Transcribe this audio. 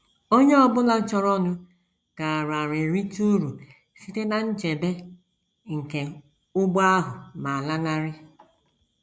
Onye ọ bụla chọrọnụ gaara erite uru site ná nchebe nke ụgbọ ahụ ma lanarị.